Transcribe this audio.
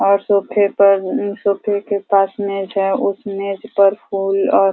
और सोफ़े पर सोफ़े के पास में चाहे उस मेज पर फूल और --